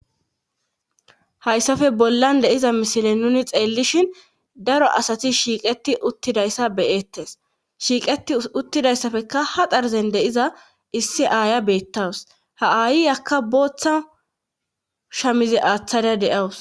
hayssafe bollan de7iza misile nuni xeellishin daro asati shiiqeti uttidayssa beyettes shiiqeti uttidayssafekka ha darzen de7iza issi aaya beettawus ha ayiy akka booththa shamize aaththada de7awus